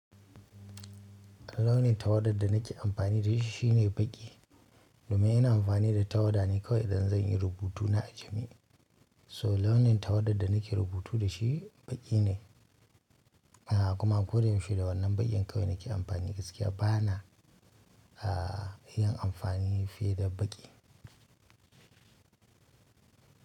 Launin tawa da da nike anfani dashi shine baki domin ina amfani da tawada ne kawai idan zan yi rubutu na aji mi. So launin tawadar da nake rubutu da shi baƙi ne. A kuma ko da yaushe da wannan baƙin kawai nake amfani gaskiya bana, a, yin amfani fiye da baƙi.